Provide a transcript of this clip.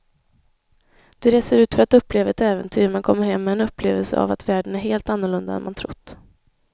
Du reser ut för att uppleva ett äventyr men kommer hem med en upplevelse av att världen är helt annorlunda än man trott.